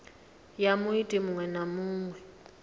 ya muiti muṅwe na muṅwe